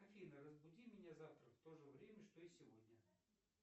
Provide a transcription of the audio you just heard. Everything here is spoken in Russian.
афина разбуди меня завтра в то же время что и сегодня